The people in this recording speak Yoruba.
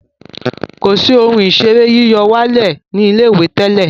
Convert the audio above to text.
kọ sí Ohun ìṣeré yíyọ̀wálẹ̀ ní ilé-ìwé tẹlẹ.